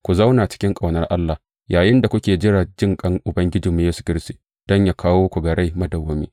Ku zauna cikin ƙaunar Allah yayinda kuke jira jinƙan Ubangijinmu Yesu Kiristi don yă kawo ku ga rai madawwami.